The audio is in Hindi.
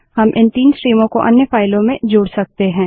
हम इन 3 स्ट्रीमों को अन्य फाइलों से जोड़ सकते हैं